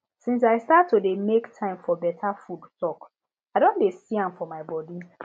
since i start to dey make time for better food talk i don dey see am for my body